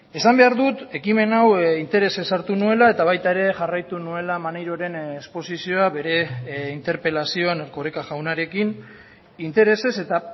esan behar dut ekimen hau interesez hartu nuela eta baita ere jarraitu nuela maneiroren esposizioa bere interpelazioan erkoreka jaunarekin interesez eta